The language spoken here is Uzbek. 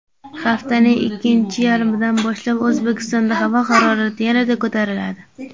Haftaning ikkinchi yarmidan boshlab O‘zbekistonda havo harorati yanada ko‘tariladi.